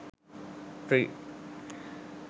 tree